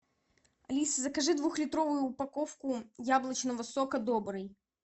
алиса закажи двухлитровую упаковку яблочного сока добрый